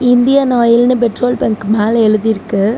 Indian ஆயில்னு petrol bunk மேல எழுதி இருக்கு.